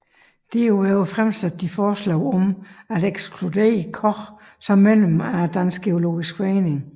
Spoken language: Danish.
Endvidere fremsatte de forslag om at ekskludere Koch som medlem af Dansk Geologisk Forening